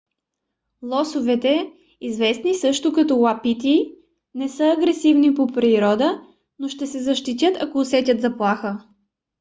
лосовете известни също като уапити не са агресивни по природа но ще се защитяст ако усетят заплаха